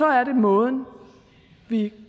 er måden vi